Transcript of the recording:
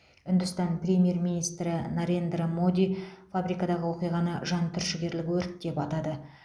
үндістан премьер министрі нарендра моди фабрикадағы оқиғаны жан түршігерлік өрт деп атады